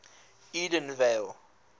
edenville